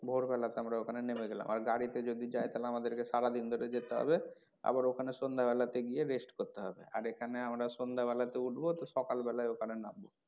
ভোর বেলা তে আমরা ওখানে নেমে গেলাম আর গাড়িতে যদি যাই আমাদের কে সারাদিন ধরে যেতে হবে আবার ওখানে সন্ধ্যা বেলা তে গিয়ে rest করতে হবে আর এখানে আমরা সন্ধ্যা বেলা তেও উঠবো তো সকাল বেলা তে ওখানে নামবো।